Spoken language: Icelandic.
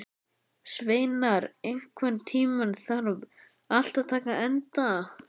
Sveinar, einhvern tímann þarf allt að taka enda.